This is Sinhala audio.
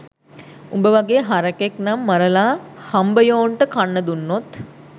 උඹ වගේ හරකෙක් නම් මරලා හම්බයෝන්ට කන්න දුන්නොත්